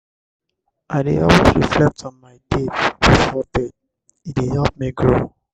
i dey always reflect on my day before bed; e dey help me grow.